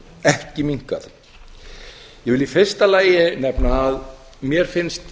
ekki minnkað ég vil í fyrsta lagi nefna að mér finnst